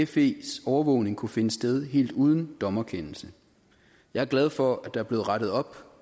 fes overvågning kunne finde sted helt uden dommerkendelse jeg er glad for at der her er blevet rettet op